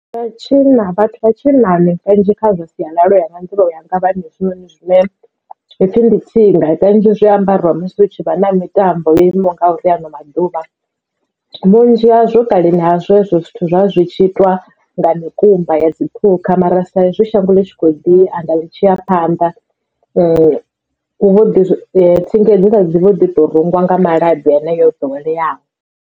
Vha tshinna vhathu vha tshinnani kanzhi kha zwa sialala uya nga nḓivho yanga vha na hezwinoni zwine ha pfhi ndi tsinga ita kanzhi zwi ambarwa musi hu tshi vha na mitambo yo imaho ngauri ha ano maḓuvha vhunzhi hazwo kaleni ha zwezwo zwithu zwa zwi tshi itiwa nga mikumba ya dzi phukha mara sa izwi shango ḽi tshi kho ḓi anda ḽi tshi ya phanḓa vho ḓi tsindi dzi vho ḓi to rengwa nga malabi heneya ḓoweleaho.